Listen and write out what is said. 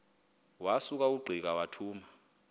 wasuka ungqika wathuma